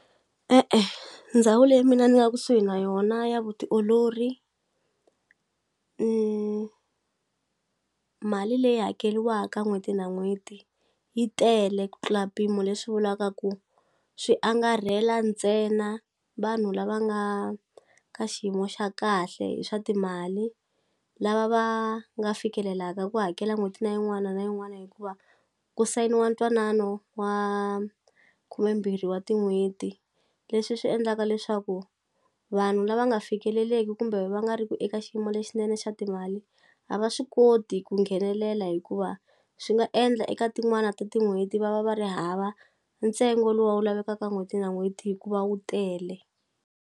E-e ndhawu leyi mina ni nga kusuhi na yona ya vutiolori mali leyi hakeliwaka n'hweti na n'hweti yi tele ku tlula mpimo leswi vulaka ku swi angarhela ntsena vanhu lava nga ka xiyimo xa kahle hi swa timali lava va nga fikelelaka ku hakela n'hweti na yin'wana na yin'wana hikuva ku sayiniwa ntwanano wa khumembirhi wa tin'hweti leswi swi endlaka leswaku vanhu lava nga fikeleleki kumbe va nga ri ku eka xiyimo lexinene xa timali a va swi koti ku nghenelela hikuva swi nga endla eka tin'wana ta tin'hweti va va va ri hava ntsengo luwa wu lavekaka n'hweti na n'hweti hikuva wu tele.